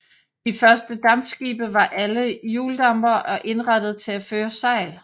De første dampskibe var alle hjuldampere og indrettede til at føre sejl